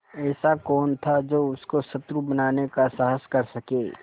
ऐसा कौन था जो उसको शत्रु बनाने का साहस कर सके